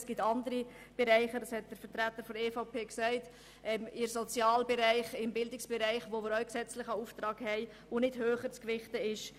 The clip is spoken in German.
Es geht insbesondere um den Sozial- und den Bildungsbereich, wo wir auch einen gesetzlichen Auftrag haben, der nicht geringer zu gewichten ist.